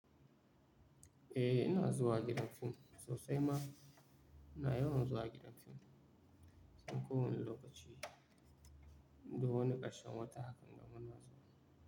Eh, ina zuwa gidan fim sosai ma. Ina yawan zuwa gidan fim a kowane lokaci, duk wani ƙarshen wata hakan gamu na zuwa.